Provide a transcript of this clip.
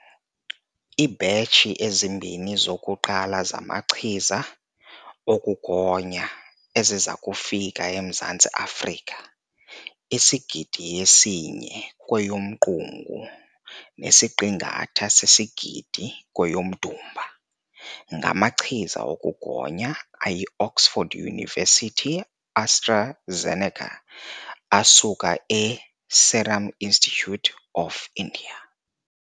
Iibhetshi ezimbini zokuqala zamachiza okugonya eziza kufika eMzantsi Afrika isigidi esinye kweyoMqungu nesiqingatha sesigidi kweyoMdumba, ngamachiza okugonya ayi-Oxford University-AstraZeneca asuka e-Serum Institute of India.